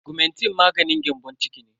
Augmentin maganin gyambon ciki ne.